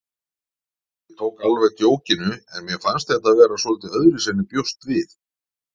Ég tók alveg djókinu en mér fannst þetta vera svolítið öðruvísi en ég bjóst við.